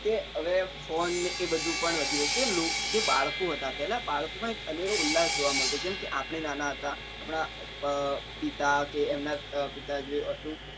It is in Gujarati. કે હવે phone ને એ બધું પણ વધ્યું છે જે બાળકો હતા પેલા બાળકો માં એક અનેરો ઉલ્લાસ જોવા મળતો જેમ કે આપડે નાના હતા આપણા અર પિતા કે એમના પિતા જે હતું એ